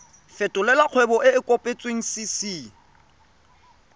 fetolela kgwebo e e kopetswengcc